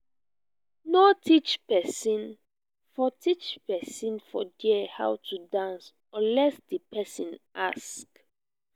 no teach persin for teach persin for there how to dance unless di persin ask